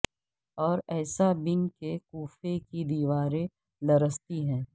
اور ایسا بین کہ کوفے کی دیواریں لرزتی ہیں